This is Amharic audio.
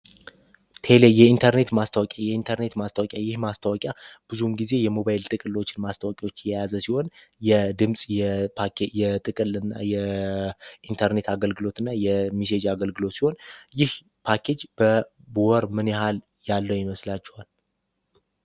የኢንተርኔት ማስታወቂያ ይህ ማስታወቂያ ነው ብዙ ጊዜ የሞባይል ቴክኖሎጂዎችን ከማስተዋወቅ ጋር የተያያዘ ሲሆን የድምጽ የኢንተርኔትና የፓኬጅ አገልግሎት ሲሆን ይህ ፓኬጅ በወር ምን ያህል ያለው ይመስላቸዋል።